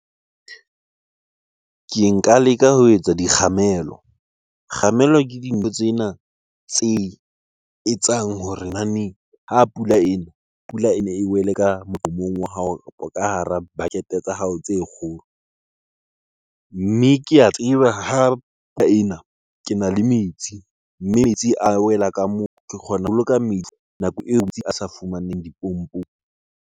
Ke nka leka ho etsa dikgamelo. Kgamelo ke dintho tsena tse etsang hore naneng ha pula ena, pula ene e wele ka moqomong wa hao kapo ka hara bucket-e tsa hao tse kgolo. Mme ke a tseba ha ena, kena le metsi. Metsi a wela ka moo, ke kgona ho boloka metsi nako eo metsi a sa fumaneng dipompong.